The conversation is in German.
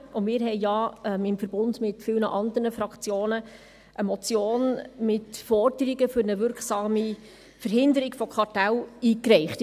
Auch wir haben ja, im Verbund mit vielen anderen Fraktionen, eine Motion mit Forderungen für eine wirksame Verhinderung von Kartellen eingereicht.